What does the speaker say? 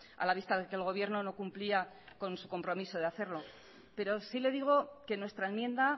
a la vista de que el gobierno no cumplía con su compromiso de hacerlo pero sí le digo que nuestra enmienda